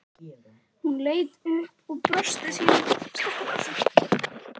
Hún leit upp og brosti sínu skakka brosi.